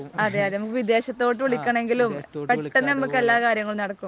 അതേ അതേ. നമുക്ക് വിദേശത്തോട്ട് വിളിക്കണമെങ്കിലും പെട്ടെന്ന് നമുക്ക് എല്ലാ കാര്യങ്ങളും നടക്കും